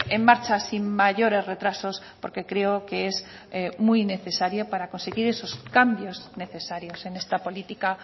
en marcha sin mayores retrasos porque creo que es muy necesario para conseguir esos cambios necesarios en esta política